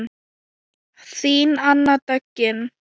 Þín Anna Döggin.